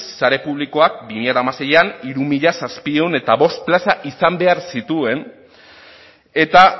sare publikoak bi mila hamaseian hiru mila zazpiehun eta bost plaza izan behar zituen eta